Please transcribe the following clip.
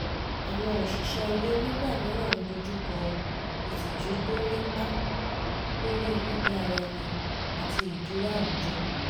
àwọn òṣìṣẹ́ ilé nígbà mìíràn ń dojú kọ ìtìjú tó nípá lórí gbígbé ara ẹni àti ìdúró àwùjọ